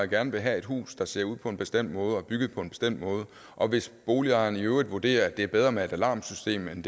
gerne vil have et hus der ser ud på en bestemt måde og er bygget på en bestemt måde og hvis boligejeren i øvrigt vurderer at det er bedre med et alarmsystem end